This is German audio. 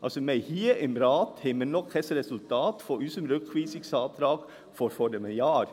Wir haben hier im Rat noch kein Resultat unseres Rückweisungsantrags von vor einem Jahr.